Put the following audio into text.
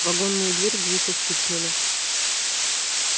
в вагонную дверь глухо стукнули